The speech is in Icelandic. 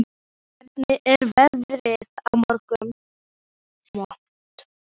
Leona, hvernig er veðrið á morgun?